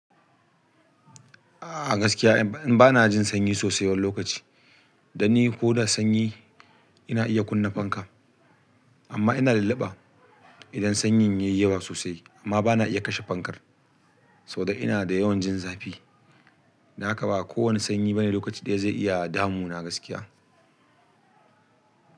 A gaskiya ban a jin sanyi sosai wani lokaci danni koda sanyi ina iya kunna fanka amma ina lulluba idan sanyin yayi yawa sosai amma bana iya kashe fankar saboda ina da yawan jin zafi. Dan haka ba kowane sanyi bane lokaci ɗaya zai iya damuna gaskiya.